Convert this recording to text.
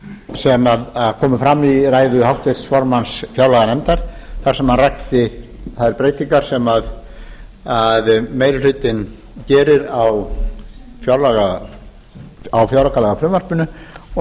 sem komu fram í ræðu háttvirts formanns fjárlaganefndar þar sem hann rakti þær breytingar sem meiri hlutinn gerir á fjáraukalagafrumvarpinu og